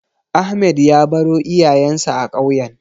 Ahmed ya baro iyayensa a ƙauyen.